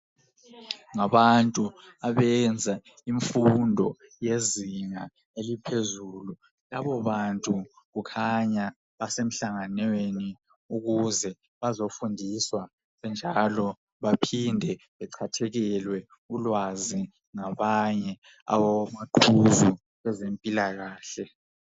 Ngabantu abenze imfundo yezinga eliphezulu, labo bantu kukhanya basemhlanganweni ukuze bazofundiswa njalo baphinde bechathekelwe ulwazi ngabanye omaqhuzu bezempilakahle